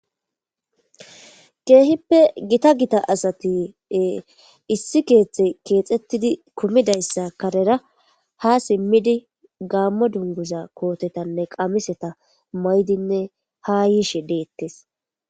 keehippe gita gita asati issi keeththe keexettidi kummidayssa karera ha simmidi gaammo dunguza kootetanne qamiseta maydinne ha yiishe deettes